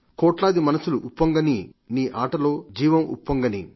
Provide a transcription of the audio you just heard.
కోట్లాది మనస్సులుప్పొంగనీ నీ ఆటలో జీవముప్పొంగనీ